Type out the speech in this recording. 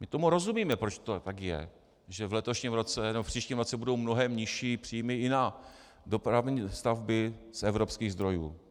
My tomu rozumíme, proč to tak je, že v letošním roce, nebo v příštím roce budou mnohem nižší příjmy i na dopravní stavby z evropských zdrojů.